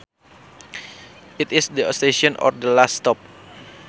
It is the station or the last stop